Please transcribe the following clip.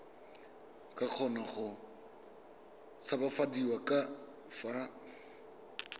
ka kgona go tshabafadiwa fa